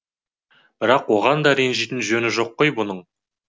бірақ оған да ренжитін жөні жоқ қой бұның